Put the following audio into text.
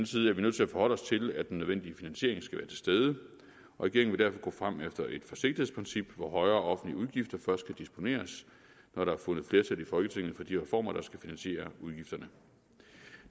side er vi nødt til at forholde os til at den nødvendige finansiering skal være til stede regeringen vil derfor gå frem efter et forsigtighedsprincip hvor højere offentlige udgifter først kan disponeres når der er fundet flertal i folketinget for de reformer der skal finansiere udgifterne